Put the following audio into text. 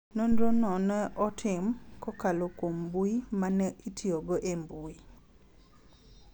Nonro no ne otim, kokalo kuom mbui ma ne itiyogo e mbui,